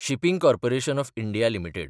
shipping corporation of India limited